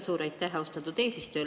Suur aitäh, austatud eesistuja!